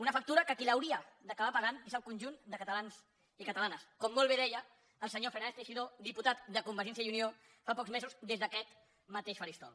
una factura que qui hauria d’acabar pagant és el conjunt de catalans i catalanes com molt bé deia el senyor fernández teixidó diputat de convergència i unió fa pocs mesos des d’aquest mateix faristol